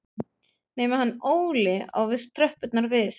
Nema hann Óli á víst tröppurnar við